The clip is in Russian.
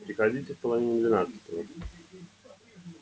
приходите в половине двенадцатого